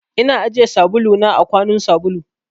Ina ajiye sabulu na a kwanun sabulu.